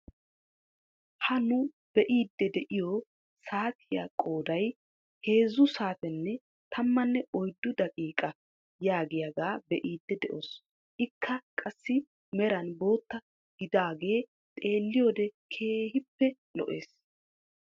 Ha nu be'iidi de'iyoo saatiyaa qooday heezzu saatenne tammanne oyddu daqiiqa yaagiyaagaa be'iidi de'oos. ikka qassi meran bootta gidaagee xeelliyoode keehippe lo"ees.